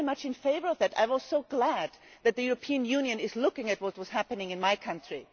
I was very much in favour of that, I was so glad that the European Union was looking at what was happening in my country.